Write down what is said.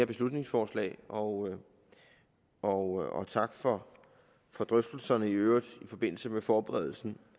beslutningsforslag og og tak for drøftelserne i øvrigt i forbindelse med forberedelsen